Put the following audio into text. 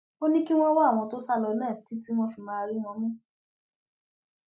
ó ní kí wọn wá àwọn tó sá lọ náà títí wọn fi máa rí wọn mú